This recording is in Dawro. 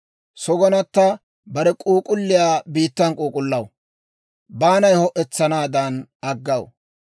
Sogonata bare k'uuk'ulliyaa biittan k'uuk'ullaw; baanay ho'etsanaadan aggaw.